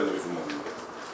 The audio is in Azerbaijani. Siz bizə də rəhm edin.